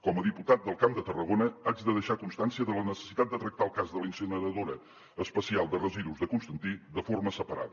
com a diputat del camp de tarragona haig de deixar constància de la necessitat de tractar el cas de la incineradora especial de residus de constantí de forma separada